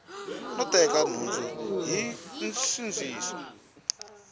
no teka nhundzu hi nsindziso